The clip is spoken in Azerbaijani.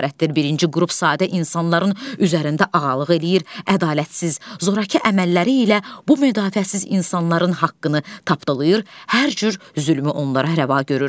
Birinci qrup sadə insanların üzərində ağalıq eləyir, ədalətsiz, zorakı əməlləri ilə bu müdafiəsiz insanların haqqını tapdalayır, hər cür zülmü onlara rəva görür.